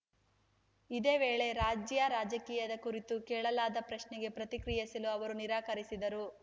ಇದೇ ವೇಳೆ ರಾಜ್ಯ ರಾಜಕೀಯದ ಕುರಿತು ಕೇಳಲಾದ ಪ್ರಶ್ನೆಗೆ ಪ್ರತಿಕ್ರಿಯಿಸಲು ಅವರು ನಿರಾಕರಿಸಿದರು